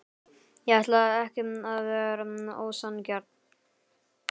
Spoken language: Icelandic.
Ég ætlaði ekki að vera ósanngjarn.